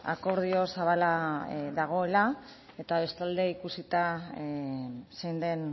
akordio zabala dagoela eta bestalde ikusita zein den